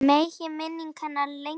Megi minning hennar lengi lifa.